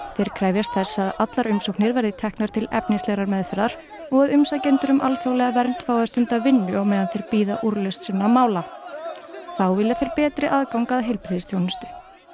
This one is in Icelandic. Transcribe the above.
þeir krefjast þess að allar umsóknir verði teknar til efnislegrar meðferðar og að umsækjendur um alþjóðlega vernd fái að stunda vinnu á meðan þeir bíða úrlausna mála sinna þá vilja þeir betri aðgang að heilbrigðisþjónustu